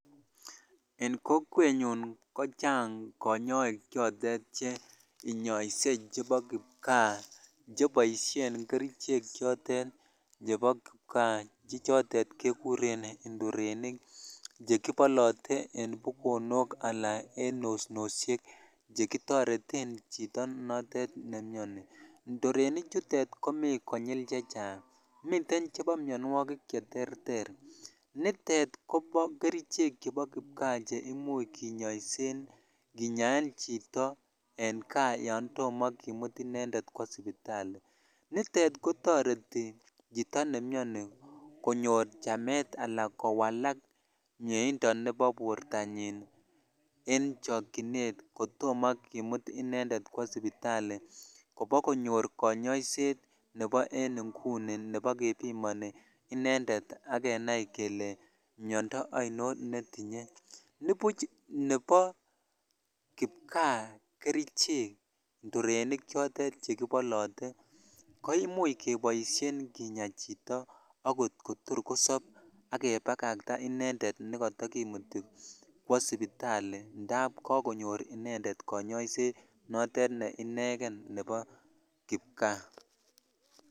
En kokwenyun kochhang konyok choton che inyose chhebo kipkaa cheboishen kerichek chotet chebo kipkaa chhe chotet kekurn indorenik chhe chotet kekuren indorenik chekibolotee imen bukonok ak en osnoshhek chhe kitoreten chito notet nemioni indorenichutet komi konyil che chechang miten chebo mionwokik che terter nutet ko kerichek chebo kipkaa kinyoisen kinyaen chito en kaa yan tomo kimut indorenik kwoo sipitali nitet kotoreti chhito ne mioni konyor chamet ala kowalak miendo nebo bortanyin en chokchinet kotomo kimut inended kwoo sipitali kobakonyor konyoiset nebo en inguni nebo kebimoni inended ak kenai keke inended kenai kele miondoo ainon netinye nibuch nebo kipkaa kerichek indorenik chotet chekibolote ko imuch kdboishen kinya chito akot kotor kosob ak kebakach inended nekatakimuti kwoo sipitali indap amun kakonyor inended konyoiset ne ineken nebo kipkaa.